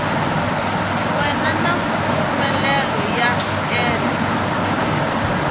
we na mpfumelelo yo cela